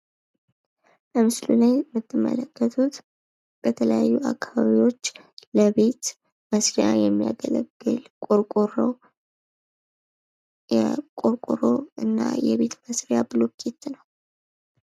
በምስሉ ላይ የምትመለከቱት በተለያዩ አካባቢዎች ለቤት መስሪያ የሚያገለግል ቆርቆሮና ብሎኬት ነው ።